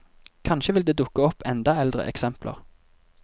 Kanskje vil det dukke opp enda eldre eksempler.